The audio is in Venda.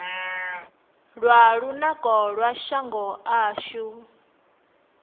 lwa lunako lwa shango ashu